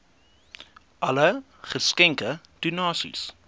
alle geskenke donasies